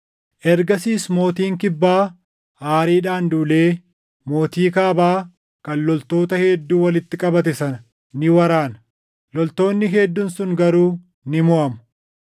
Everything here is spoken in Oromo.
“Ergasiis mootiin Kibbaa aariidhaan duulee mootii Kaabaa kan loltoota hedduu walitti qabate sana ni waraana; loltoonni hedduun sun garuu ni moʼamu.